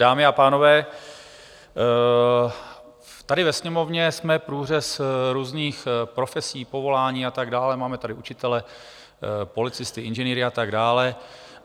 Dámy a pánové, tady ve Sněmovně jsme průřez různých profesí, povolání a tak dále, máme tady učitele, policisty, inženýry a tak dále.